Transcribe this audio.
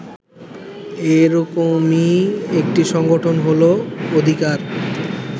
এরকমই একটি সংগঠন হল অধিকার